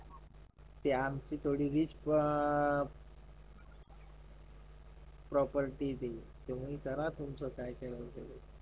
ते आमची थोडी रिच प्रॉपर्टी आहे ती तुम्ही करा तुमचं काय करायचं आहे ते